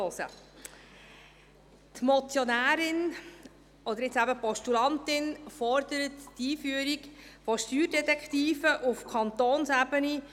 Die Motionärin – oder inzwischen Postulantin – fordert die Einführung von Steuerdetektiven auf Kantonsebene.